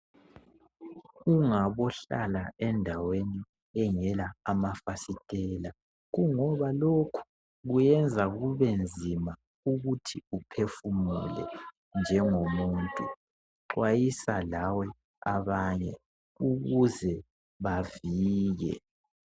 Ungabohlala endaweni engela amafasitela kungoba lokhu kuyenza kube nzima ukuthi uphefumule njengo muntu xhwayisa lawe abanye ukuze bavike.